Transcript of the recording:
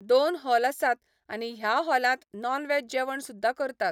दोन हॉल आसात आनी ह्या हॉलांत नॉन वेज जेवण सुद्दा करतात.